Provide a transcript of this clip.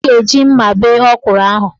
Ọ ga-eji mma bee ọkwụrụ ahụ.